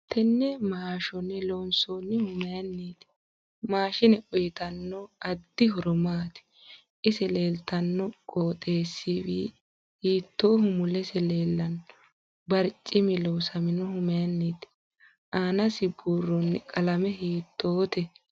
Tenne maashone loonsoonihu mayiiniiti maashine uyiitanno addi horo maati ise leeltanno qoxewsi hiitooho mulese leelanno barcimi loosaminohu mayiiniiti aanasi buurooni qalame hiitoote